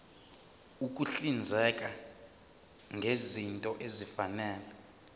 ukuhlinzeka ngezinto ezifanele